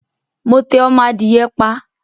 Mo tẹ ọmọ adìye pa